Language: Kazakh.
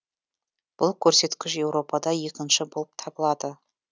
бұл көрсеткіш еуропада екінші болып табылады